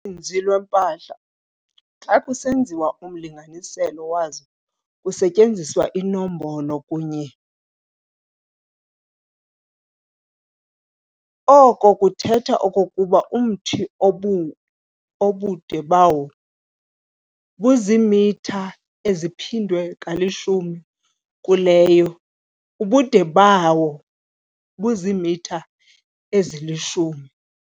Uninzi lweempahla xa kusenziwa umlinganiselo wazo kusetyenziswa inombolo kunye ]. Oko kuthetha okokuba umthi obude bawo buzimitha eziphindwe kalishumi kuleyo ] ubude bawo buzimitha ezili-10.